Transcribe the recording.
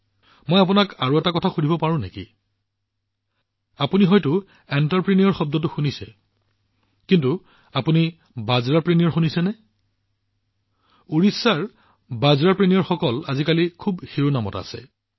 মই আপোনালোকক আৰু এটা কথা শুধিব পাৰো নেকি আপোনালোকে নিশ্চয় উদ্যমী শব্দটো শুনিছে কিন্তু আপুনি মিলেটপ্ৰেনিয়াৰ শুনিছে নেকি ওড়িশাৰৰ বাজৰাপ্ৰেনিয়াৰসকল আজিকালি চৰ্চাৰ বিষয় হৈ পৰিছে